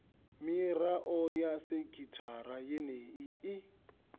mirao ya sekithara yeneyo i